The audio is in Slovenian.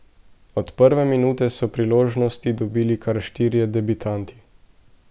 Od prve minute so priložnosti dobili kar štirje debitanti.